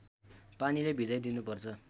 पानीले भिजाइ दिनुपर्छ